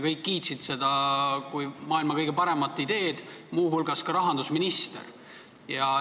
Kõik kiitsid seda kui maailma kõige paremat ideed, teiste hulgas rahandusminister.